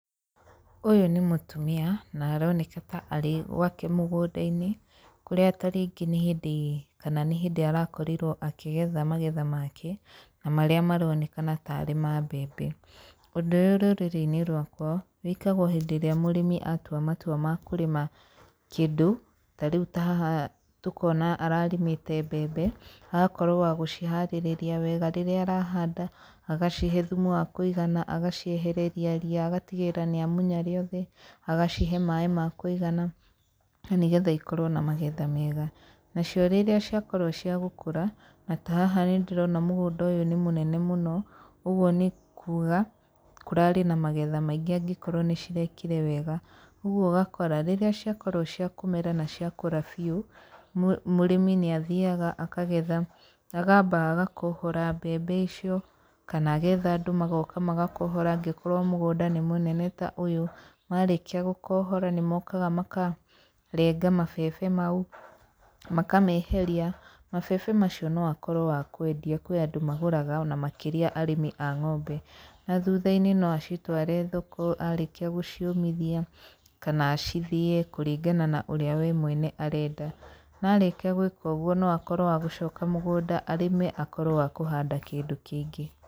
Ũyũ nĩ mũtumia, na aroneka ta arĩ gwake mũgũnda-inĩ, kũrĩa ta rĩngĩ nĩ hĩndĩ kana nĩ hĩndĩ arakorirwo akĩgetha magetha make, na marĩa maronekana tarĩ ma mabembe. Ũndũ ũyũ rũrĩrĩ-inĩ rwakwa, wĩkagwo hĩndĩ ĩrĩa mũrĩmi atua matua ma kũrĩma kĩndũ, ta rĩu ta haha tũkona ararĩmĩte mbembe, agakorwo wa gũciharĩrĩria wega, rĩrĩa arahanda agacihe thumu wa kũigana, agaciehereria ria, agatigĩrĩra nĩ amunya rĩothe, agacihe maĩ makũigana nĩgetha ikorwo na magetha mega. Nacio rĩrĩa ciakorwo cia gũkũra, na ta haha nĩ ndĩrona mũgũnda ũyũ nĩ mũnene mũno, ũguo nĩ kuuga, kũrarĩ na magetha maingĩ angĩkorwo nĩ cirekire wega, ũguo ũgakora rĩrĩa ciakorwo cia kũmera na ciakũra biũ, mũrĩmi nĩ athiaga akagetha, akamba agakohora mbembe icio, kana agetha andũ magoka magakohora angĩkorwo mũgũnda nĩ mũnene ta ũyũ, Marĩkia gũkohora nĩ mkoga makarenga mabebe mau, makameheria. Mabebe macio no akorwo wa kwendia, kwĩ andũ magũraga, ona makĩria arĩmi a ng'ombe, na thutha-inĩ no acitware thoko arĩkia gũciũmithia, kana acithĩe kũringana na ũrĩa we mwene arenda, na arĩkia gwĩka ũguo no akorwo wa gũcoka mũgũnda arĩme akorwo wa kũhanda kĩndũ kĩngĩ.